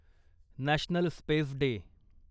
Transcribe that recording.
national space day